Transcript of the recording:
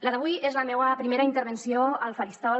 la d’avui és la meua primera intervenció al faristol